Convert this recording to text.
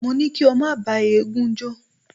Mo ní kí o má bá eégún jó.